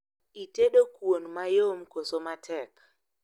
Itedo kuon mayom koso matek?